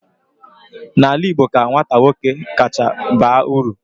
n'ala Igbo ka nwata nwoke kacha baa uru